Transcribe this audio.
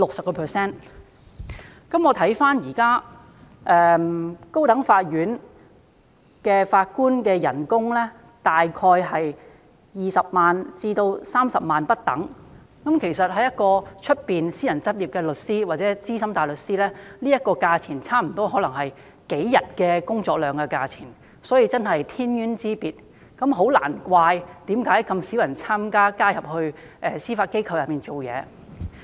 現時高等法院法官的月薪大概是20萬元至30萬元不等，但對於私人執業的律師或資深大律師而言，這個金額可能大約等於他們數天工作量的酬金而已，確實是天淵之別，難怪很少人願意加入司法機構工作。